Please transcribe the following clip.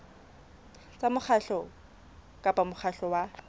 tsa mokgatlo kapa mokgatlo wa